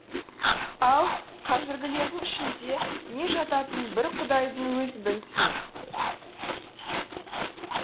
ал қазіргілердің ішінде не жататынын бір құдайдың өзі білсін